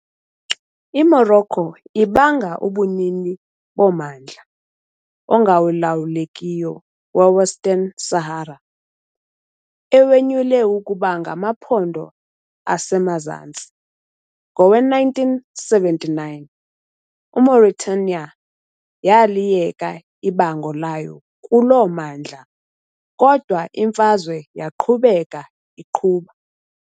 I-Morocco ibanga ubunini bommandla ongalawulekiyo we- Western Sahara, ewunyule ukuba ngamaPhondo aseMazantsi. Ngowe-1979, iMauritania yaliyeka ibango layo kuloo mmandla, kodwa imfazwe yaqhubeka iqhuba.